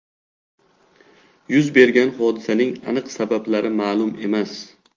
Yuz bergan hodisaning aniq sabablari ma’lum emas.